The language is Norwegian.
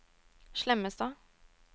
Slemmestad